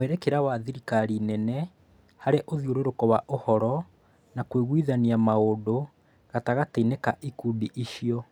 Mwerekera wa thirikari nene hari ũthiũrũrũko wa ũhoro na kũiguithania maũndũ gatagatĩ-inĩ ka ikundi icio